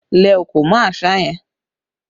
Lẹ̀ òkò mọ́ àṣá yẹn!